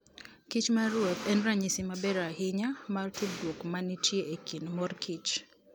kich maruoth en ranyisi maber ahinya mar tudruok ma nitie e kind mor kich.